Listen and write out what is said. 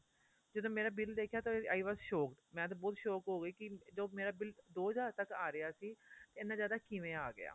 ਜਦੋਂ ਮੇਰਾ bill ਦੇਖਿਆ ਤਾਂ i was shocked ਮੈਂ ਤੇ ਬਹੁਤ shock ਹੋ ਗਈ ਕੀ ਜੋ ਮੇਰਾ bill ਦੋ ਹਜ਼ਾਰ ਤੱਕ ਆ ਰਿਹਾ ਸੀ ਇੰਨਾ ਜਿਆਦਾ ਕਿਵੇਂ ਆ ਗਿਆ